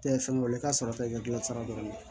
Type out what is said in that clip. Tɛ fɛn wɛrɛ ka sɔrɔ i ka gilan sira dɔn